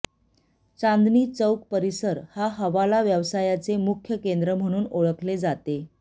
चांदणी चौक परिसर हा हवाला व्यवसायाचे मुख्य केंद्र म्हणून ओळखले जाते